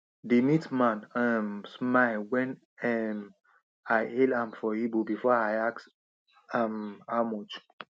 the meat man um smile when um i hail am for igbo before i ask um how much